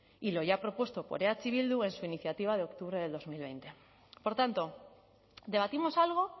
y lo ya propuesto por eh bildu en su iniciativa de octubre de dos mil veinte por tanto debatimos algo